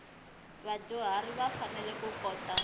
vadyuharhi va fanele ku kota